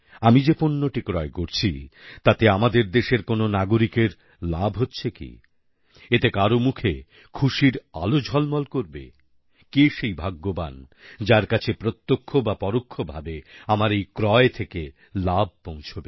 আমি যে পণ্যটি ক্রয় করছি তাতে আমাদের দেশের কোনও নাগরিকের লাভ হচ্ছে কি এতে কার মুখে খুশির আলো ঝলমল করবে কে সেই ভাগ্যবান যার কাছে প্রত্যক্ষ বা পরোক্ষভাবে আমার এই ক্রয় থেকে লাভ পৌঁছবে